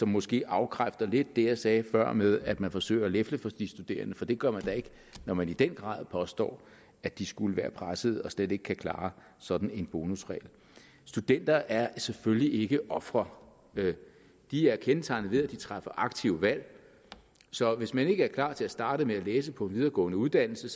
måske afkræfter lidt det jeg sagde før med at man forsøger at lefle for de studerende for det gør man da ikke når man i den grad påstår at de skulle være pressede og slet ikke kan klare sådan en bonusregel studenter er selvfølgelig ikke ofre de er kendetegnet ved at de træffer aktive valg så hvis man ikke er klar til at starte med at læse på en videregående uddannelse